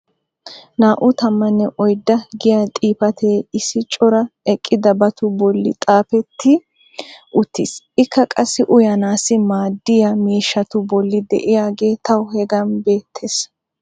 naa'u tammanne oydda giya xifatee issi cora eqqidabatu boli xaafetti uttiis. ikka qassi uyanaassi maadiya miishshatu boli diyaagee tawu hagan beetees.